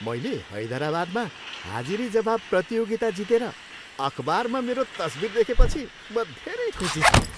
मैले हैदराबादमा हाजिरीजवाब प्रतियोगिता जितेर अखबारमा मेरो तस्विर देखेपछि म धेरै खुशी थिएँ।